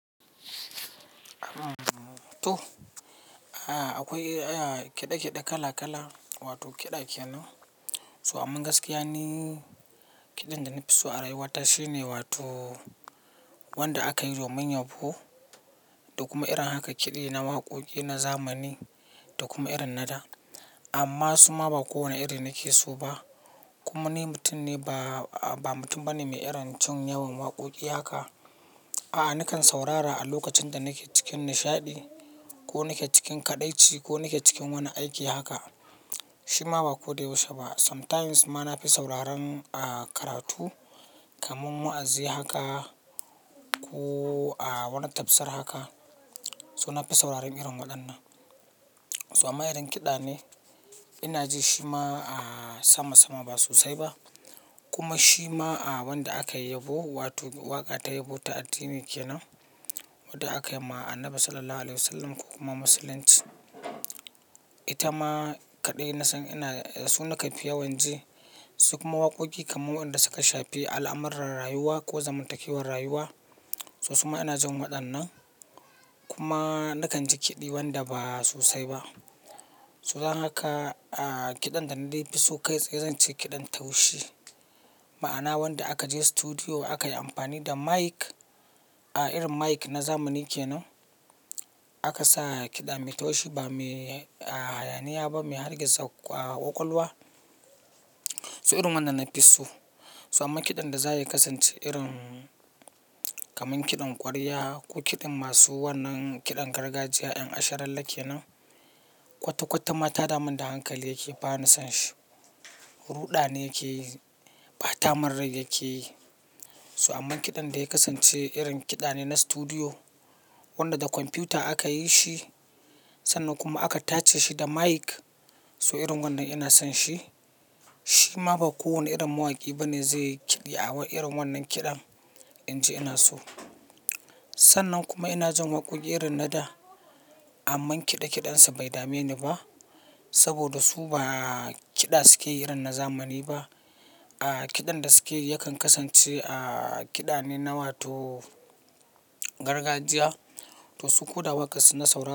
To, akwai kiɗa kiɗa kala kala wato kiɗa kenan. So amman gaskiya ni, kiɗan da na fi so a rayuwata shine wato wanda aka yi domin yabo da kuma irin haka kiɗi na waƙoƙi na zamani da kuma irin na da. Amma suma ba kowane iri nake so ba. Kuma ni mutum ne ba, ba mutum bane mai iron jin yawan waƙoƙi haka. A'a, nakan saurara a lokacin da nake cikin nishaɗi ko nake cikin kaɗaici ko nake cikin wani aiki haka. Shi ma ba ko da yaushe ba. Sometimes ma na fi sauraron a karatu kamar wa'azi haka ko a wani tafsir haka. So na fi sauraron irin waɗannan. So amma idan kiɗa ne ina ji shi ma a sama sama ba sosai ba. Kuma shi ma a wanda aka yi yabo wato waƙa ta yabo ta addini kenan wadda aka yi ma Annabi Sallallahu Alaihi Wasallam ko kuma Masih. Ita ma kaɗai nasan ina, su nakan fi yawan ji. Su kuma waƙoƙi kamar wanda suka shafi al'amuran rayuwa ko zamantakewar rayuwa. So su ma ina jin waɗannan. Kuma na kan ji kiɗi wanda ba sosai ba. So dan haka a kiɗan da na dai fi so kai tsaye zan ce kiɗan taushi. Ma'ana wanda aka je studio aka yi amfani da mic, a irin mic na zamani kenan. Aka sa kiɗa mai taushi ba me, a hayani ba me hargitsa ƙwaƙwalwa. So irin wannan na fi so. So amma kiɗan da za ya kasance irin kamar kiɗan ƙwarya ko kiɗin masu wannan kiɗan gargajiya 'yan asharalle kenan, kwata kwata ma ta damun da hankali yake ba ni son shi. Ruɗani yake yi, ba tamanrai yake yi. So amma kiɗan da ya kasance irin kiɗa ne na studio wanda da kwamfuta aka yi shi. Sannan kuma aka tace shi da mic. So irin wannan ina son shi. Shi ma ba kowane irin mawaƙi bane zai yi kiɗi a irin wannan kiɗan, in ji ina so. Sannan kuma ina jin waƙoƙi irin na da amma kiɗa kiɗansu bai dame ni ba. Saboda su ba kiɗa suke irin na zamani ba. A kiɗan da suke yakan kasance a kiɗa ne na wato gargajiya. To su ko da waƙar su na saurara.